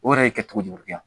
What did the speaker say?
O yɛrɛ ye kɛcogo juguya